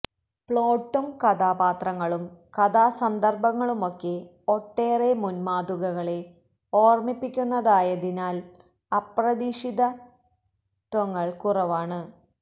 പ്ലോട്ടും കഥാപാത്രങ്ങളും കഥാസന്ദര്ഭങ്ങളുമൊക്കെ ഒട്ടേറെ മുന് മാതൃകകളെ ഓര്മ്മിപ്പിക്കുന്നതായതിനാല് അപ്രതീക്ഷിതത്വങ്ങള് കുറവാണ്